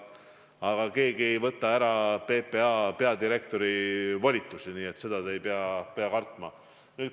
Aga keegi ei võta PPA peadirektorilt volitusi ära – seda te ei pea kartma.